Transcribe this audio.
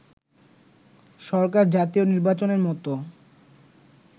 সরকার জাতীয় নির্বাচনের মতো